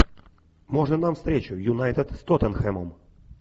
можно нам встречу юнайтед с тоттенхэмом